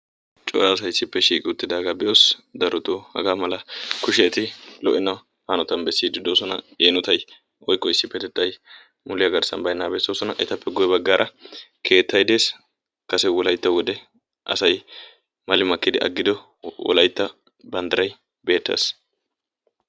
cora asay issippe shiiqidaage uttidaaga be'oos. darotoo haga bolli kushiyae eti lo''ena hanotan woykko issipetettay muliya garssan baynnagaa bessoosona. etappe guyye baggara keettay des. kase wolaytta wode asay mali makkidi agiddo wolaytta banddiray beettees.